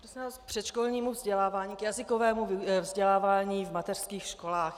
K předškolnímu vzdělávání, k jazykovému vzdělávání v mateřských školách.